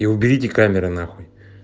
и уберите камеры на хуй